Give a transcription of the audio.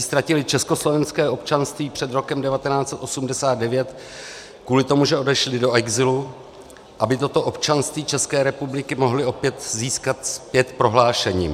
ztratili československé občanství před rokem 1989 kvůli tomu, že odešli do exilu, aby toto občanství České republiky mohli opět získat zpět prohlášením.